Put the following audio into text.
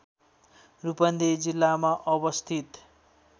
रूपन्देही जिल्लामा अवस्थित